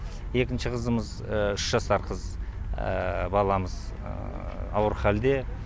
екінші қызымыз үш жасар қыз баламыз ауыр халде